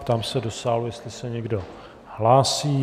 Ptám se do sálu, jestli se někdo hlásí.